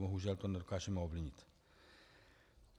Bohužel to nedokážeme ovlivnit.